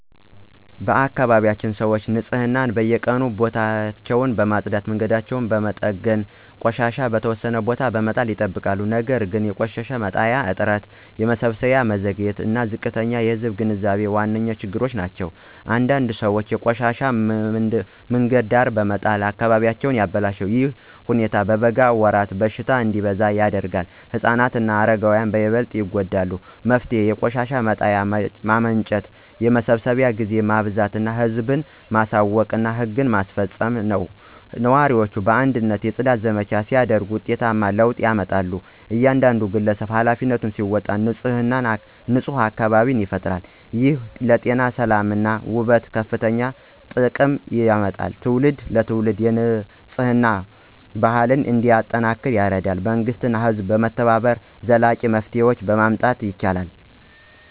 በአካባቢያችን ሰዎች ንፅህናን በየቀኑ ቤታቸውን በመጽዳት መንገዶችን በመጠገን እና ቆሻሻ በተወሰነ ቦታ በመጣል ይጠብቃሉ። ነገር ግን የቆሻሻ መጣያ እጥረት የመሰብሰብ መዘግየት እና ዝቅተኛ የህዝብ ግንዛቤ ዋና ችግሮች ናቸው። አንዳንድ ሰዎች ቆሻሻቸውን በመንገድ ዳር በመጣል አካባቢውን ያበላሻሉ። ይህ ሁኔታ በበጋ ወራት በሽታ እንዲበዛ ያደርጋል ህፃናት እና አረጋውያን በበለጠ ይጎዳሉ። መፍትሄው የቆሻሻ መጣያ ማመንጨት የመሰብሰብ ጊዜ ማበዛት ህዝብን ማሳወቅ እና ህግ ማስፈጸም ነው። ነዋሪዎች በአንድነት የጽዳት ዘመቻ ሲያደርጉ ውጤታማ ለውጥ ይመጣል። እያንዳንዱ ግለሰብ ኃላፊነቱን ሲወጣ ንፁህ አካባቢ ይፈጠራል። ይህ ለጤና ሰላም እና ውበት ከፍተኛ ጥቅም ያመጣል ትውልድ ትውልድ የንፅህና ባህል እንዲጠናከር ይረዳል። መንግሥት እና ህዝብ በመተባበር ዘላቂ መፍትሄ ማምጣት ይችላሉ።